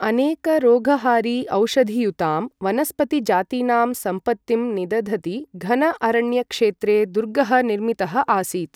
अनेक रोगहारि औषधियुतां वनस्पतिजातीनां सम्पत्तिं निदधति घन अरण्य क्षेत्रे दुर्गः निर्मितः आसीत्।